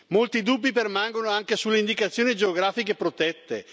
Molti dubbi permangono anche sulle indicazioni geografiche protette.